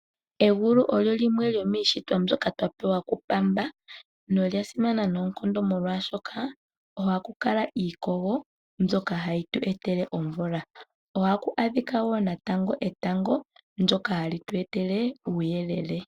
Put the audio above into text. Egulu olyo lyimwe shomiishitwa mbyoka twa pewa ku pamba na lya simana noonkondo molwaashoka ohaku kala iikogo mbyoka hayi tu etele omvula, ohaku adhika wo natango etango ndoka hali tu etele uuyelele.